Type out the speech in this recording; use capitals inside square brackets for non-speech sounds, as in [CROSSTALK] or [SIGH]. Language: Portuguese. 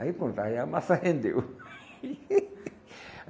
Aí pronto, aí a massa rendeu. [LAUGHS]